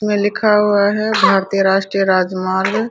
में लिखा हुआ है भारतीय राष्ट्रीय राजमार्ग।